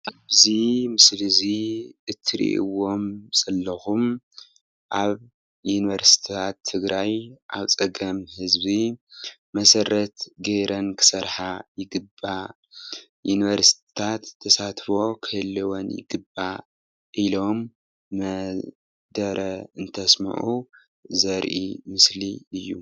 እዚ ምስሊ እዚ እትርኢዎም ዘሎኩም ኣብ ዩኒቨርስትታት ትግራይ ኣብ ፀገም ህዝቢ መሰረት ገረን ክሰርሓ ይግባእ ። ዩኒቨርስትታት ተሳትፎ ክህልወን ይግባእ ኢሎም መደረ እንተስምዑ ዘርኢ ምስሊ እዩ።